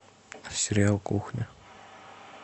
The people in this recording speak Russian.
сериал кухня